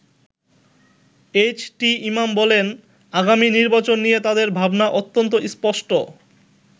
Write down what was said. H T Imam বলেন, আগামী নির্বাচন নিয়ে তাদের ভাবনা অত্যন্ত স্পষ্ট।